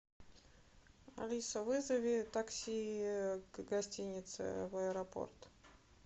алиса вызови такси к гостинице в аэропорт